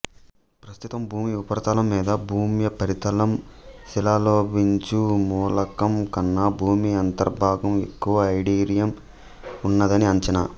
ప్రస్తుతం భూమి ఉపరితలం మీద భూమ్యుపరితలం శిలలోలభించు మూలకం కన్న భూమి అంత ర్భాగంలో ఎక్కువ ఇరీడియం ఉన్నదని అంచనా